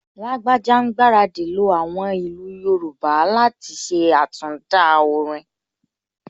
Lágbájá ń gbaradì lo àwọn ìlú Yorùbá láti ṣe àtinúdá orin